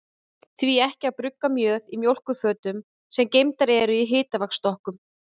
Því ekki að brugga mjöð í mjólkurfötum, sem geymdar eru í hitaveitustokkunum?